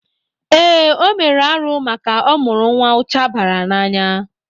Ee, o mere arụ maka ọ mụrụ nwa ụcha bara n'anya.